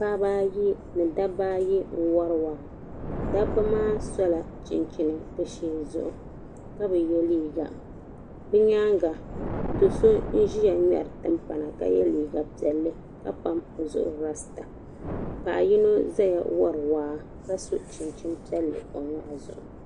Paɣaba ayi ni dabba ayi n wari waa dabba maa sola chinchini bɛ sheeni ka bi ye liiga bɛ nyaanga do'so n ʒia ŋmeri timpana ka ye liiga piɛlli ka pam o zuɣu rasta paɣa yino zaya wari waa ka so chinchini piɛlli o nyɔɣu zuɣu.